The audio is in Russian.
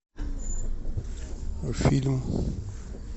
фильм